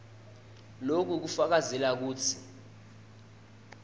loku kufakazela kutsi